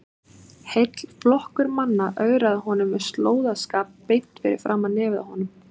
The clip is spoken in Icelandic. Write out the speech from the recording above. Heill flokkur manna ögraði honum með slóðaskap beint fyrir framan nefið á honum!